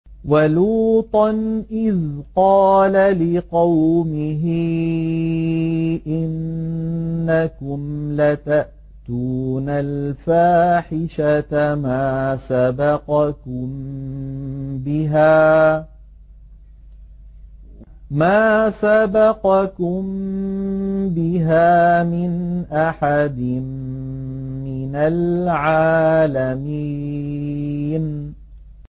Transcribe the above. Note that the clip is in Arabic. وَلُوطًا إِذْ قَالَ لِقَوْمِهِ إِنَّكُمْ لَتَأْتُونَ الْفَاحِشَةَ مَا سَبَقَكُم بِهَا مِنْ أَحَدٍ مِّنَ الْعَالَمِينَ